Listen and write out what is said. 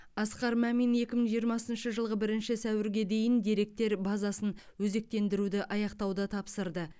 асқар мамин екі мың жиырмасыншы жылғы бірінші сәуірге дейін деректер базасын өзектендіруді аяқтауды тапсырды